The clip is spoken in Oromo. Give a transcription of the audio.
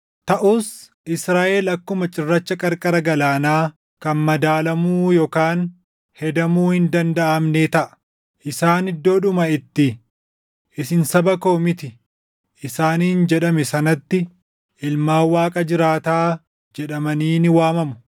“Taʼus Israaʼel akkuma cirracha qarqara galaanaa kan madaalamuu yookaan hedamuu hin dandaʼamnee taʼa. Isaan iddoodhuma itti, ‘Isin saba koo miti’ isaaniin jedhame sanatti, ‘Ilmaan Waaqa jiraataa’ jedhamanii ni waamamu.